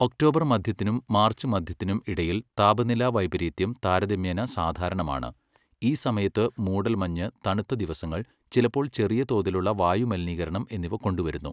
October മധ്യത്തിനും March മധ്യത്തിനും ഇടയിൽ താപനില വൈപരീത്യം താരതമ്യേന സാധാരണമാണ്, ഈ സമയത്തു മൂടൽമഞ്ഞ്, തണുത്ത ദിവസങ്ങൾ, ചിലപ്പോൾ ചെറിയ തോതിലുള്ള വായു മലിനീകരണം എന്നിവ കൊണ്ടുവരുന്നു.